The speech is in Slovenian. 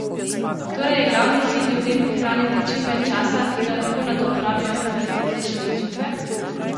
Torej je glavni cilj ljudem prihraniti čim več časa, ki ga lahko nato porabijo za kvalitetnejše odločitve?